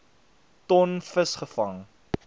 ton vis gevang